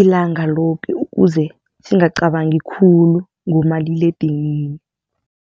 ilanga loke ukuze singacabangi khulu ngomaliledinini.